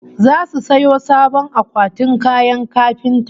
Zasu sayo sabon akwatin kayan kafinta